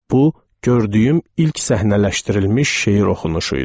Bu, gördüyüm ilk səhnələşdirilmiş şeir oxunuşuydu.